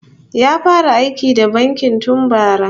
Ya fara aiki da banki tun bara